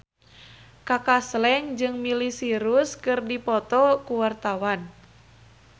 Kaka Slank jeung Miley Cyrus keur dipoto ku wartawan